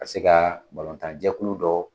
Ka se ka balontan jɛkulu dɔ